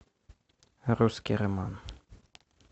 русский роман